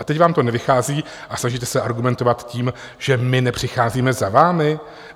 A teď vám to nevychází a snažíte se argumentovat tím, že my nepřicházíme za vámi.